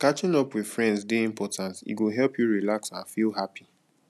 catching up with friends dey important e go help you relax and feel happy